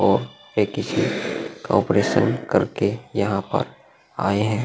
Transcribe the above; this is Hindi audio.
और ए किसी का ऑपरेशन करके यहां पर आये हैं।